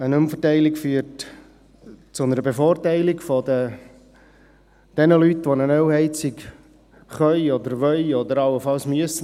Eine Umverteilung führt zu einer Bevorteilung der Leute, die eine Ölheizung ersetzen können oder wollen oder allenfalls müssen.